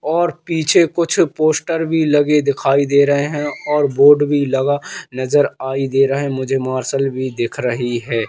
और पीछे कुछ पोस्टर भीं लगे दिखाई दे रहें हैं और बोर्ड भीं लगा नजर आयी दे रहा हैं मुझे मार्शल भीं दिख रहीं हैं।